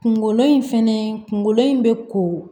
Kungolo in fɛnɛ kunkolo in bɛ ko